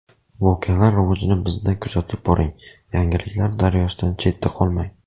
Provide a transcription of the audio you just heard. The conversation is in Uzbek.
Voqealar rivojini bizda kuzatib boring, yangiliklar daryosidan chetda qolmang!